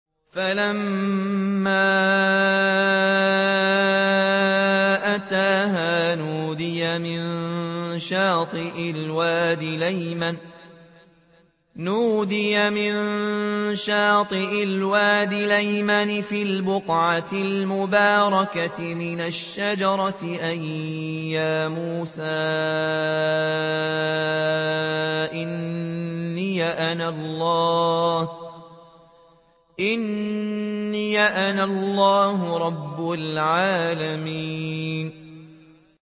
فَلَمَّا أَتَاهَا نُودِيَ مِن شَاطِئِ الْوَادِ الْأَيْمَنِ فِي الْبُقْعَةِ الْمُبَارَكَةِ مِنَ الشَّجَرَةِ أَن يَا مُوسَىٰ إِنِّي أَنَا اللَّهُ رَبُّ الْعَالَمِينَ